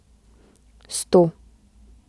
Sto.